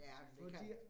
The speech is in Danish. Ja, forkert